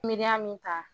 Miiriya min ta